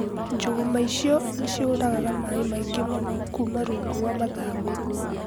Njũgũma icio nĩ ciũragaga maĩ maingĩ mũno kuuma rungu rwa mathangũ